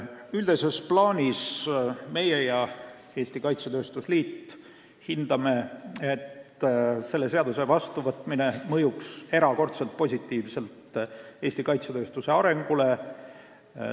Üldises plaanis hindame meie ja hindab Eesti Kaitsetööstuse Liit, et selle seaduse vastuvõtmine mõjuks erakordselt positiivselt Eesti kaitsetööstuse arengule.